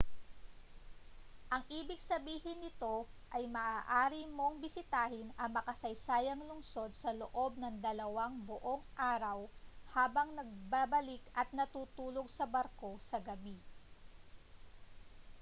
ang ibig sabihin nito ay maaari mong bisitahin ang makasaysayang lungsod sa loob ng dalawang buong araw habang nagbabalik at natutulog sa barko sa gabi